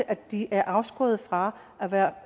at de er afskåret fra